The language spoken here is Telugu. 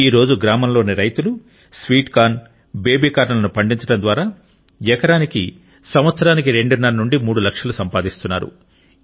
నేడు గ్రామంలోని రైతులు స్వీట్ కార్న్ బేబీ కార్న్ లను పండించడం ద్వారా ఎకరానికి సంవత్సరానికి రెండున్నర నుండి మూడు లక్షలు సంపాదిస్తున్నారు